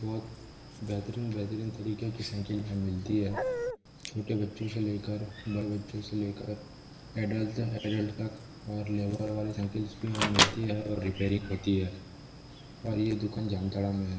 बहुत बेहतरीन बेहतरीन तरीके की साइकिल यहाँ मिलती है छोटे बच्चों से लेकर बड़े बच्चों से लेकर अडल्ट अडल्ट तक और लेबर वाले साइकिल भी यहाँ पे मिलती है और रिपेयरिंग होती है और ये दुकान जामताड़ा में है।